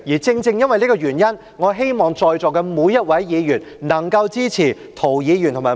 正正因為這個原因，我希望在座每一位議員能夠支持涂議員和毛議員的兩項修正案。